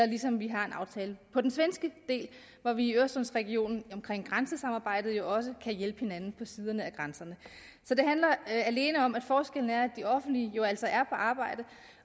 ligesom vi har en aftale på den svenske del hvor vi i øresundsregionen omkring grænsesamarbejdet jo også kan hjælpe hinanden på begge sider af grænserne så det handler alene om at de offentlige jo altså er på arbejde